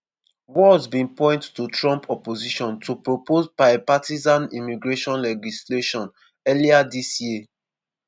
walz bin point to trump opposition to proposed bipartisan immigration legislation earlier dis year.